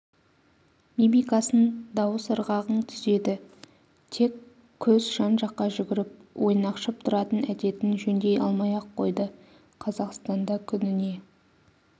мимикасын дауыс ырғағын түзеді тек көз жан-жаққа жүгіріп ойнақшып тұратын әдетін жөндей алмай-ақ қойды қазақстанда күніне